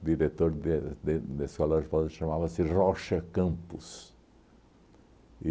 diretor de de desse colégio chamava-se Rocha Campos.